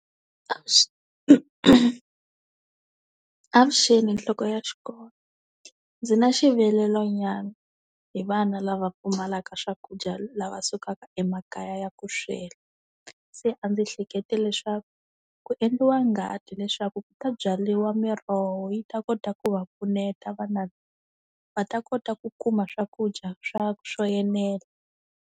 avuxeni nhloko ya xikolo, ndzi na xivilelo nyana, hi vana lava pfumalaka swakudya lava sukaka emakaya ya ku swela. Se a ndzi hlekete leswaku ku endliwa ngadi leswaku ku ta byariwa miroho yi ta kota ku va pfuneta vana va ta kota ku kuma swakudya swa swo enela.